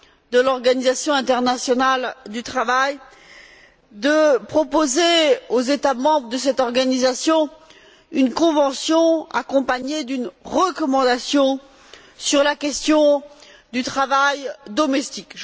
de l'Organisation internationale du travail de proposer aux États membres de cette organisation une convention accompagnée d'une recommandation sur la question du travail domestique.